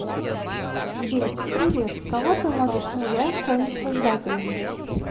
сбер привет кого ты можешь назвать своим создателем